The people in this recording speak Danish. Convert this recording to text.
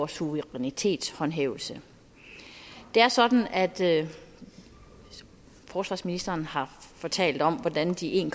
suverænitetshåndhævelse det er sådan at forsvarsministeren har fortalt om hvordan de en